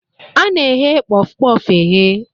A na eghe Kpof-kpof e ghe.